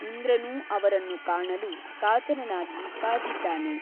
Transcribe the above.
ಇಂದ್ರನೂ ಅವರನ್ನು ಕಾಣಲು ಕಾತರನಾಗಿ ಕಾದಿದ್ದಾನೆ.